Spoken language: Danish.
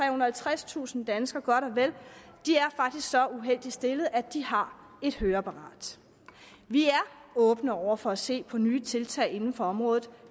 og halvtredstusind danskere faktisk så uheldigt stillet at de har et høreapparat vi er åbne over for at se på nye tiltag inden for området